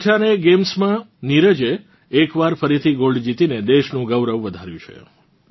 Kuortane games માં નીરજે એકવાર ફરીથી ગોલ્ડજીતીને દેશનું ગૌરવ વધાર્યું છે